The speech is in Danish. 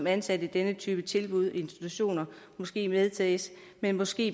ansatte i denne type tilbud og institutioner måske vedtages men måske